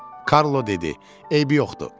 Karlo dedi: Eybi yoxdur, kəm eləmə.